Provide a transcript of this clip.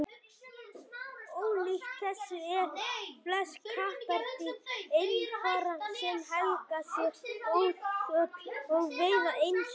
ólíkt þessu eru flest kattardýr einfarar sem helga sér óðöl og veiða einsömul